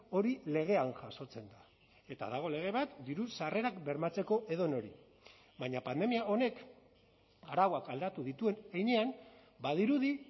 hori legean jasotzen da eta dago lege bat diru sarrerak bermatzeko edonori baina pandemia honek arauak aldatu dituen heinean badirudi